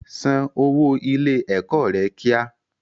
San owó ilé ẹ̀kọ́ rẹ kíá!